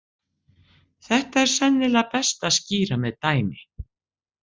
Þetta er sennilega best að skýra með dæmi.